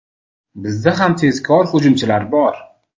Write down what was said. Bizda ham tezkor hujumchilar bor.